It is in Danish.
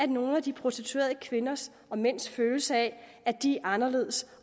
nogle af de prostituerede kvinders og mænds følelse af at de er anderledes